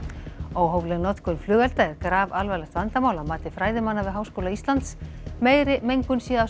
óhófleg notkun flugelda er grafalvarlegt vandamál að mati fræðimanna við Háskóla Íslands meiri mengun sé af